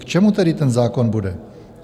K čemu tedy ten zákon bude?